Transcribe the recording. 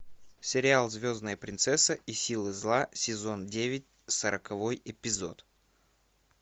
сериал звездная принцесса и силы зла сезон девять сороковой эпизод